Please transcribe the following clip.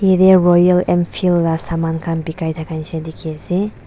jatte royal Enfield laga saman khan bekai thaka nisna dekhi ase.